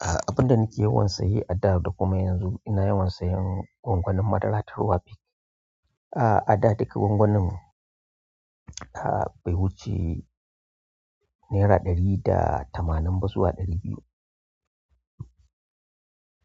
Abin da nake yawan saye a da da kuma yanzu ina yawan sayen gwangwanin madara ta ruwa a a da duk gwangwanin a bai wuce naira ɗari da tamanin ba zuwa ɗari biyu.